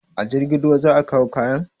A jirgin ruwa za a kawo kayan?